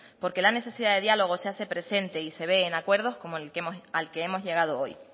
porque la necesidad de diálogo se hace presente y se ve en acuerdos como al que hemos llegado hoy